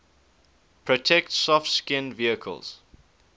protect soft skinned vehicles